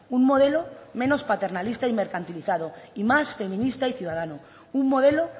un modelo menos paternalista y mercantilizado y más feminista y ciudadano un modelo